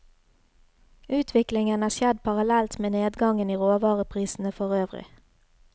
Utviklingen har skjedd parallellt med nedgangen i råvareprisene forøvrig.